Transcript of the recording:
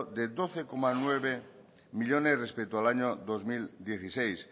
de doce coma nueve millónes respecto al año dos mil dieciséis